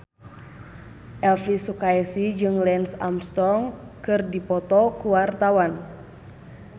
Elvi Sukaesih jeung Lance Armstrong keur dipoto ku wartawan